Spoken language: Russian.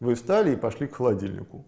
вы встали и пошли к холодильнику